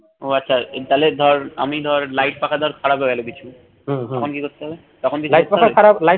আচ্ছা তাইলে ধর আমি ধর light পাখা ধর খারাপ হয়ে গেলো কিছু তখন কি করতে হবে তখন কি